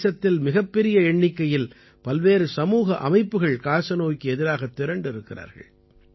தேசத்தில் மிகப்பெரிய எண்ணிக்கையில் பல்வேறு சமூக அமைப்புகள் காசநோய்க்கு எதிராகத் திரண்டிருக்கிறார்கள்